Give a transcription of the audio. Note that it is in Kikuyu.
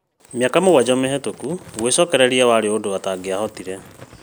Mĩaka mũgwanja mĩhetũku, gwĩcokereria warĩ ũndũ atangĩahotire